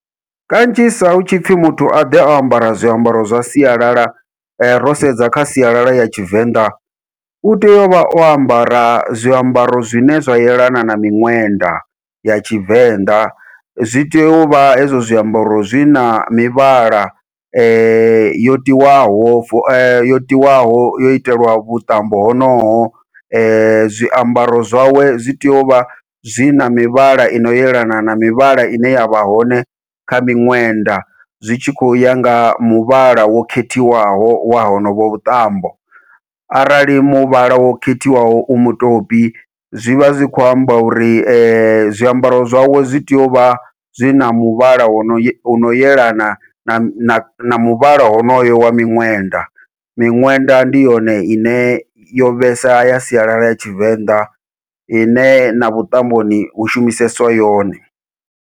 Kanzhisa hu tshipfi muthu aḓe o ambara zwiambaro zwa sialala, ro sedza kha sialala ya tshivenḓa u tea uvha o ambara zwiambaro zwine zwa yelana na miṅwenda ya Tshivenḓa zwi tea uvha hezwo zwiambaro zwi na mivhala yo tiwaho yo tiwaho yo itelwa vhuṱambo honoho, zwiambaro zwawe zwi tea uvha zwi na mivhala ino yelana na mivhala ine yavha hone kha miṅwenda zwi tshi khoya nga muvhala wo khethiwaho wa honovho vhuṱambo. Arali muvhala wo khethiwaho u mutobi zwivha zwi kho amba uri zwiambaro zwawe zwi tea uvha zwi na muvhala wono uno yelana na muvhala honoyo wa miṅwenda, miṅwenda ndi yone ine yo vhesa ya sialala ya tshivenḓa ine na vhuṱamboni hu shumiseswa yone.